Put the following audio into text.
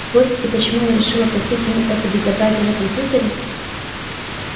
спросите почему я решила простить ему это безобразие на компьютере